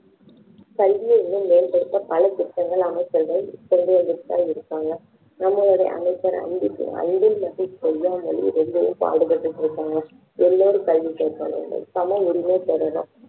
கல்வியை இன்னும் மேம்படுத்த பல திட்டங்களை அமைச்சர்கள் கொண்டு வந்துட்டு தான் இருக்காங்க நம்மளுடைய அமைச்சர் அன்பில் மகேஷ் பொய்யாமொழி ரொம்பவும் பாடு பட்டுட்டு இருக்காங்க எல்லாரும் கல்வி பெறவேண்டும் சம உரிமை பெறனும்